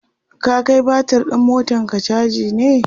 ka Kai batir ɗin motanka chaji ne?